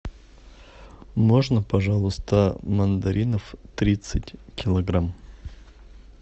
можно пожалуйста мандаринов тридцать килограмм